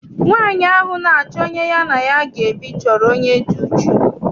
Nwaanyi ahụ na-achọ onye ya na ya ga ebi chọrọ onye dị uchu.